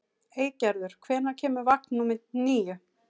Eygerður, hvenær kemur vagn númer níu?